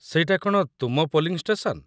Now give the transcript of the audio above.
ସେଇଟା କ'ଣ ତୁମ ପୋଲିଂ ଷ୍ଟେସନ?